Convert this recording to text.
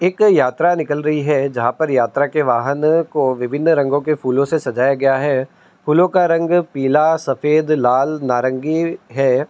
एक यात्रा निकल रही है जहाँ पर यात्रा के वाहन को विभिन्न रंगों के फूलों से सजाया गया है। फूलों का रंग पीला सफेद लाल नारंगी है।